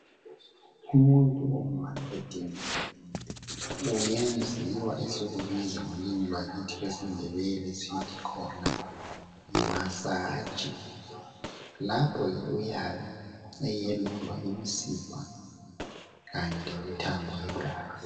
Umuntu uma ediniwe uyenziwa esikubiza ngolimi lwakithi lwesiNdebele sithi khona yimasaji. Lapho ke uyabe eyelulwa imisipha kanye lemithambo yegazi.